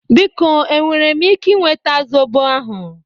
Biko e nwere m ike nweta zobo ahụ?